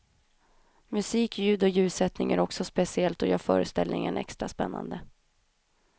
Musik, ljud och ljussättning är också speciellt och gör föreställningen extra spännande.